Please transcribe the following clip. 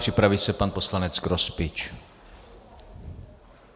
Připraví se pan poslanec Grospič.